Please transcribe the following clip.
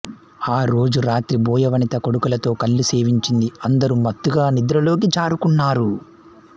ఆ రోజు రాత్రి బోయ వనిత కొడుకులతో కల్లు సేవించింది అందరూ మత్తుగా నిద్రలోకి జారుకున్నారు